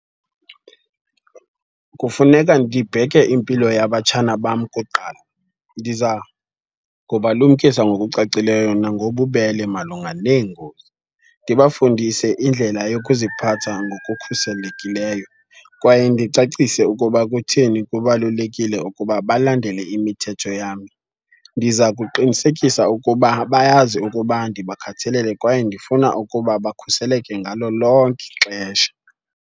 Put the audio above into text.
Kufuneka ndibheke impilo yabatshana bam kuqala. Ndiza kubalumkisa ngokucacileyo nangobubele malunga neengozi, ndibafundise indlela yokuziphatha ngokukhuselekileyo kwaye ndicacise ukuba kutheni kubalulekile ukuba balandele imithetho yam. Ndiza kuqinisekisa ukuba bayazi ukuba ndibakhathalele kwaye ndifuna ukuba bakhuseleke ngalo lonke ixesha.